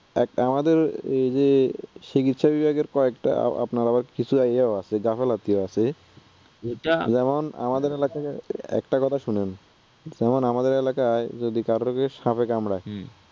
আমাদের ঐযে চিকিৎসা বিভাগের কয়েকটা আপনার আবার কিছু আছে গাফেলতি আছে, যেমন আমাদের এলাকাতে, একটা কথা শুনেন যেমন আমাদের এলাকায় কাউকে যদি সাপে কামড়ায়,